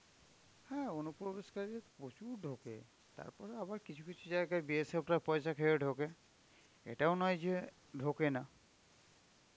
হ্যাঁ অনুপ্রবেশকারী প্রচুর ঢোকে, তারপরে আবার কিছু কিছু জায়গায় BSF রা পয়সা খেয়েও ঢোকে, এটাও নয় যে ঢোকে না.